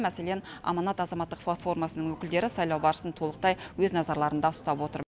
мәселен аманат азаматтық платформасының өкілдері сайлау барысын толықтай өз назарларында ұстап отыр